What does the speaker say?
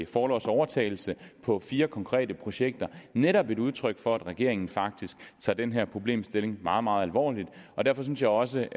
forlods overtagelse på fire konkrete projekter det netop et udtryk for at regeringen faktisk tager den her problemstilling meget meget alvorligt derfor synes jeg også